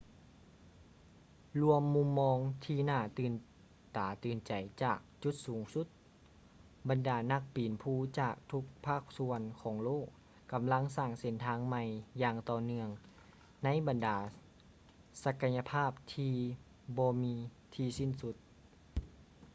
ລວມມຸມມອງທີ່ຫນ້າຕື່ນຕາຕື່ນໃຈຈາກຈຸດສູງສຸດ ບັນດານັກປີນພູຈາກທຸກພາກສ່ວນຂອງໂລກກຳລັງສ້າງເສັ້ນທາງໃໝ່ຢ່າງຕໍ່ເນື່ອງໃນບັນດາສັກກະຍະພາບທີ່ບໍ່ມີທີ່ສິ້ນສຸດ